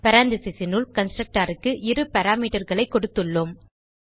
paranthesisனுள் constructorக்கு இரு parameterகளை கொடுத்துள்ளோம்